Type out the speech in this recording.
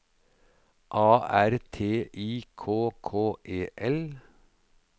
A R T I K K E L